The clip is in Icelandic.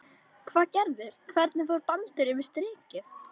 Hvað gerðist, hvernig fór Baldur yfir strikið?